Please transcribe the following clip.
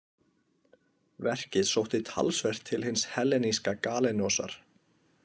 Verkið sótti talsvert til hins helleníska Galenosar.